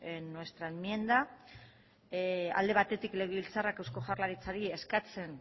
en nuestra enmienda alde batetik legebiltzarrak eusko jaurlaritzari eskatzen